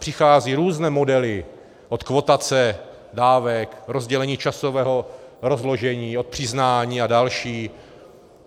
Přicházejí různé modely, od kvotace dávek, rozdělení časového rozložení, od přiznání a další.